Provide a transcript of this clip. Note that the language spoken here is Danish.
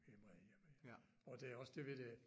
Vi er meget hjemme ja og der er også det ved det at